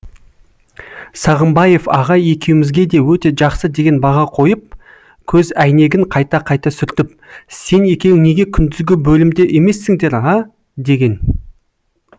сағымбаев ағай екеуімізге де өте жақсы деген баға қойып көз әйнегін қайта қайта сүртіп сен екеуің неге күндізгі бөлімде емессіңдер а деген